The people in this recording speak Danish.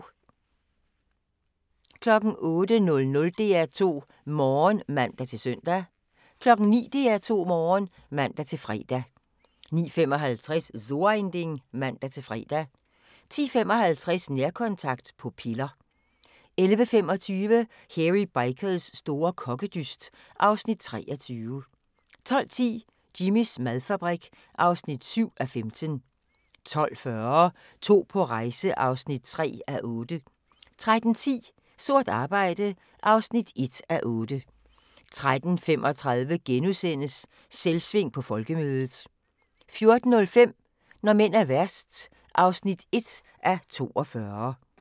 08:00: DR2 Morgen (man-søn) 09:00: DR2 Morgen (man-fre) 09:55: So Ein Ding (man-fre) 10:55: Nærkontakt – på piller 11:25: Hairy Bikers store kokkedyst (Afs. 23) 12:10: Jimmys madfabrik (7:15) 12:40: To på rejse (3:8) 13:10: Sort arbejde (1:8) 13:35: Selvsving på Folkemødet * 14:05: Når mænd er værst (1:42)